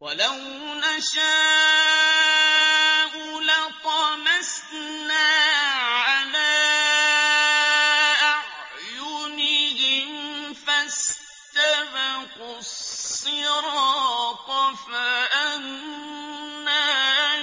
وَلَوْ نَشَاءُ لَطَمَسْنَا عَلَىٰ أَعْيُنِهِمْ فَاسْتَبَقُوا الصِّرَاطَ فَأَنَّىٰ